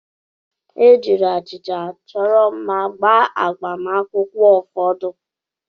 E jirila achịcha achọrọ mma gbaa agbamakwụkwọ ụfọdụ.